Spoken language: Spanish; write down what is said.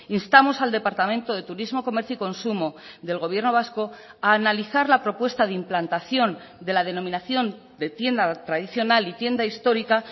instamos al departamento de turismo comercio y consumo del gobierno vasco a analizar la propuesta de implantación de la denominación de tienda tradicional y tienda histórica